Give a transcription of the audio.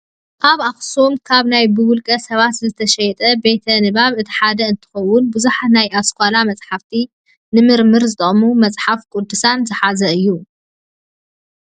ኣብ ኣክሱም ካብ ናይ ብውልቀ ሰባት ዝተጣየሸ ቤተ ንባብ እቲ ሓደ እንትኸውን ብዙሓት ናይ ኣስኳላ መፅሓፍትን ንምርምር ዝጠቅሙ መፅሓፍ ቅዱሳትን ዝሓዘ እዩ።